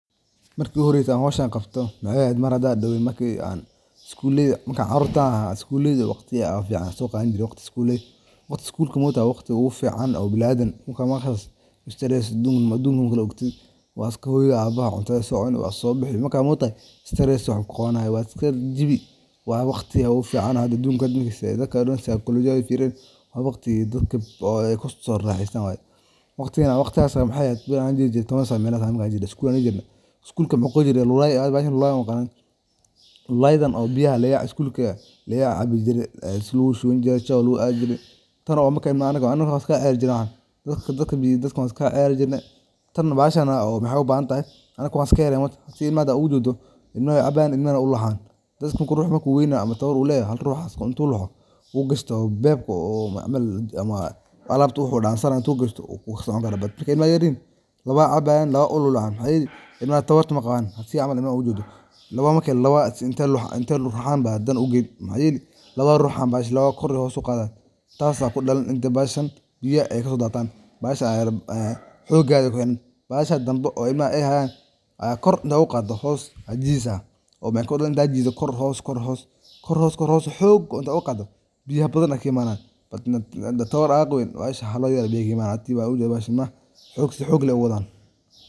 Marki ugu horeyse aan howshan qabto maxaay eheed marki aan sidaas darteed qodista waxay noqon kartaa hab wax ku ool ah oo loogu talagalay in la helo biyo nadiif ah oo ay isticmaali karaan bulshada, beeraha, iyo xoolaha, gaar ahaan goobaha aan biyaha badda iyo ilaha dabiiciga ah ku filanayn, sidaas awgeed farsamooyinka casrika ah ee lagu qodo waxay ka kooban yihiin sawirro taxane ah oo ku saleysan cilmi nafaqada, taas oo ay ku jiraan sahaminta meesha saxda ah ee lagu qodi karo, qorshaynta qoto dheerka iyo qaabka borehole-ka, isticmaalka qalabka khaasiga ah sidoo kale habka ugu habboon ee lagu dhiso gudaha.